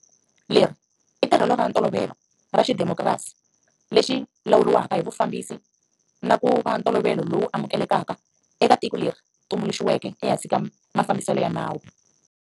Leri i tirhelo ra ntolovelo ra xidemokirasi lexi lawuriwaka hi Vumbiwa na ku va ntolovelo lowu amukelekaka eka tiko leri tumbuluxiweke ehansi ka mafambiselo ya nawu.